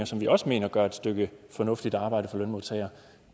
som vi også mener gør et stykke fornuftigt arbejde for lønmodtagere